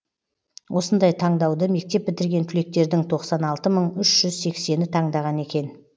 осындай таңдауды мектеп бітірген түлектердің тоқсан алты мың үш жүз сексені таңдаған екен